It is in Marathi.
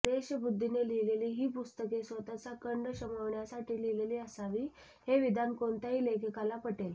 द्वेषबुद्धीने लिहिलेली ही पुस्तके स्वतःचा कंड शमविण्यासाठी लिहिलेली असावी हे विधान कोणत्याही लेखकाला पटेल